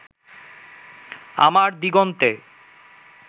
আমার দিগন্তে